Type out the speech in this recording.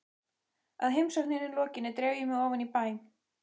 Að heimsókninni lokinni dreif ég mig ofan í bæ.